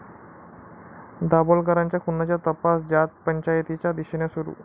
दाभोलकरांच्या खुनाचा तपास जातपंचायतीच्या दिशेने सुरू